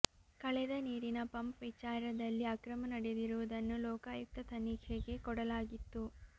ಕಳೆದ ನೀರಿನ ಪಂಪ್ ವಿಚಾರದಲ್ಲಿ ಅಕ್ರಮ ನಡೆದಿರುವುದನ್ನು ಲೋಕಾಯುಕ್ತ ತನಿಖೆಗೆ ಕೊಡಲಾಗಿತ್ತು